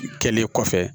Kɛlen kɔfɛ